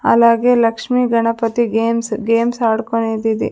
అలాగే Lakshmi Ganapati games games ఆదుకునేదిది.